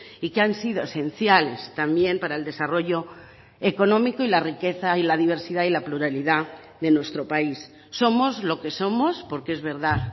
y que han sido esenciales también para el desarrollo económico y la riqueza y la diversidad y la pluralidad de nuestro país somos lo que somos porque es verdad